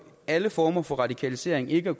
alle former for radikalisering eller